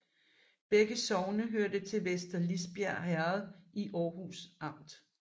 Begge sogne hørte til Vester Lisbjerg Herred i Aarhus Amt